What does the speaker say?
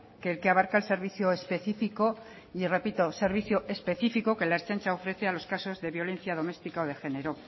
que el que abarca el servicio específico y repito servicio específico que la ertzaintza ofrece a los casos de violencia doméstica o de género